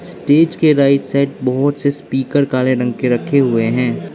Stage के right side बहोत से स्पीकर काले रंग के रखे हुए हैं।